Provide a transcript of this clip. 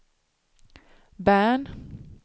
Bern